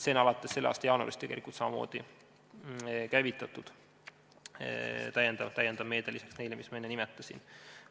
See on alates selle aasta jaanuarist tegelikult samamoodi käivitatud meede lisaks neile, mis ma enne nimetasin.